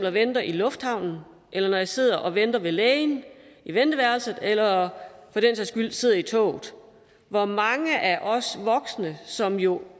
og venter i lufthavnen eller når jeg sidder og venter ved lægen i venteværelset eller når jeg sidder i toget hvor mange af os voksne som jo